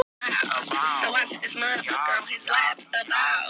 Og öskrið meira skerandi en nokkur hnífur getur bitið.